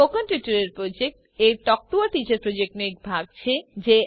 spoken tutorial project એ talk to a teacher પ્રોજેક્ટનો એક ભાગ છે